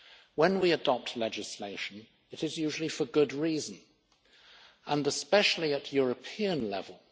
When we adopt legislation it is usually for good reason and especially at European level.